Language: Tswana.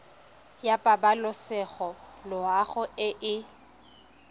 ya pabalesego loago e e